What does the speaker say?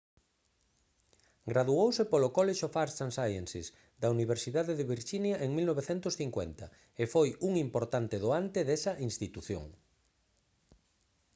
graduouse polo college of arts & sciences da universidade de virxinia en 1950 e foi un importante doante desa institución